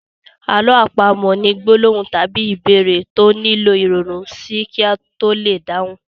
Àlọ́ àpamọ̀ ni gbólóhùn tàbí ìbéèrè tó nílò ìronú sí kí a to lè dáhùn.